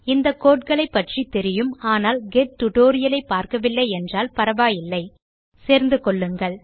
இந்த கோடு களைப்பற்றி தெரியும் ஆனால் கெட் டியூட்டோரியல் ஐ பார்க்கவில்லை என்றால் பரவாயில்லை சேர்ந்து கொள்ளுங்கள்